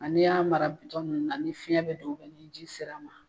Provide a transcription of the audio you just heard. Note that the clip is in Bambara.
N'i y'a mara nunnu na ni fiɲɛ bi don ni ji sera a ma